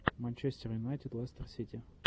манчестер юнайтед лестер сити